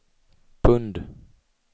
pund